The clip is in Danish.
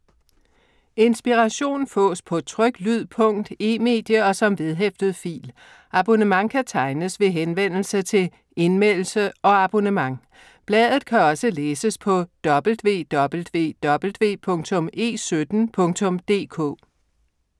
Inspiration fås på tryk, lyd, punkt, e-medie og som vedhæftet fil. Abonnement kan tegnes ved henvendelse til Indmeldelse og abonnement. Bladet kan også læses på www.e17.dk